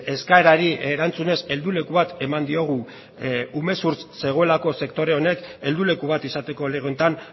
eskaerari erantzunez helduleku bat eman diogu umezurtz zegoelako sektore honek helduleku bat izateko lege honetan